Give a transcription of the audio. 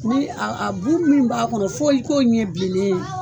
Tugunni a bu min b'a kɔnɔ fɔ i ko ɲɛ bilen ne ye.